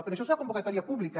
però això serà convocatòria pública